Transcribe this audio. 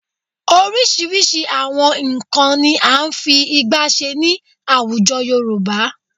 Oríṣiríṣi àwọn nnkan ni à ń fi ìgbá ṣe ní àwùjọ Yorùbá